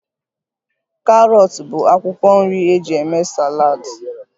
Karọt bụ akwụkwọ nri eji eme saladi